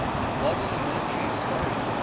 modern military historian